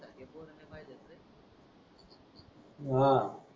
हा